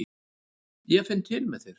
Ég finn til með þér.